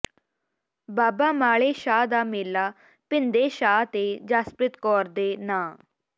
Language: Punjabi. ਬਾਬਾ ਮਾਲੇ ਸ਼ਾਹ ਦਾ ਮੇਲਾ ਭਿੰਦੇ ਸ਼ਾਹ ਤੇ ਜਸਪ੍ਰੀਤ ਕੌਰ ਦੇ ਨਾਂ